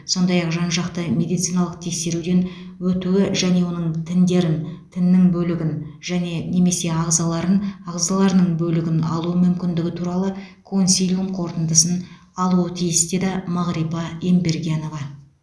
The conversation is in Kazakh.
сондай ақ жан жақты медициналық тексеруден өтуі және оның тіндерін тіннің бөлігін және немесе ағзаларын ағзаларының бөлігін алу мүмкіндігі туралы консилиум қорытындысын алуы тиіс деді мағрипа ембергенова